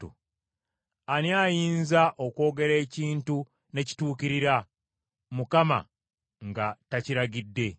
Ani ayinza okwogera ekintu ne kituukirira, Mukama nga takiragidde?